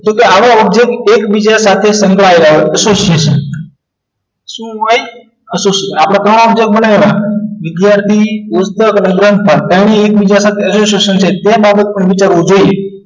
તો કે આવા object એકબીજા સાથે સંકળાયેલ હોય association શું હોય association આપણે ત્રણ object બનાવેલા વિદ્યાર્થી પુસ્તક અને ગ્રંથ પાઠ ત્રણે એકબીજા સાથે association છે તે બાબત પણ વિચારવું જોઈએ